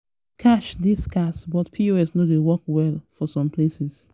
cash dey scarce but pos no dey work well for some places.